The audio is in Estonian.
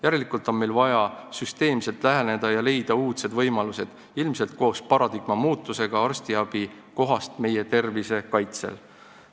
Järelikult on meil vaja süsteemselt läheneda ja leida uudsed võimalused, ilmselt koos paradigma muutusega sellel teemal, milline on arstiabi koht meie tervise kaitsel.